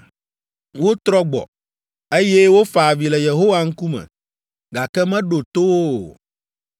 Wotrɔ gbɔ, eye wofa avi le Yehowa ŋkume, gake meɖo to wo o.